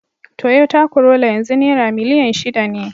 Toyota Corolla yanzu naira miliyan shida ne.